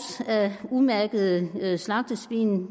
af umærkede slagtesvin